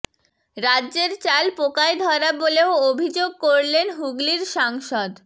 রাজ্যের চাল পোকায় ধরা বলেও অভিযোগ করলেন হুগলির সাংসদ